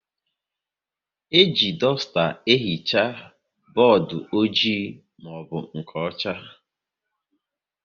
E ji dusta ehicha bọọdụ ojii maọbụ nke ọcha